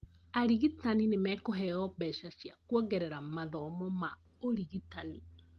Arigitani nĩmekũheo mbeca cia kũongera mathomo ma ũrigitani